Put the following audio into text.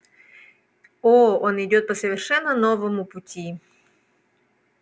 о он идёт по совершенно новому пути